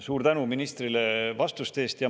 Suur tänu ministrile vastuste eest!